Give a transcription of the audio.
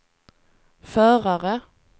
förare